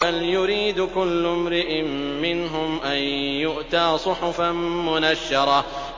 بَلْ يُرِيدُ كُلُّ امْرِئٍ مِّنْهُمْ أَن يُؤْتَىٰ صُحُفًا مُّنَشَّرَةً